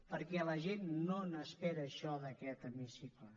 perquè la gent no n’espera això d’aquest hemicicle